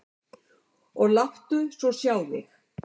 Og láttu svo sjá þig.